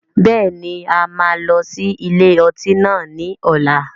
Bẹ́ẹ̀ni, a máa lọ sí ilé ọtí náà ni ọ̀la.